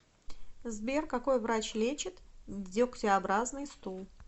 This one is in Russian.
сбер какой врач лечит дегтеобразный стул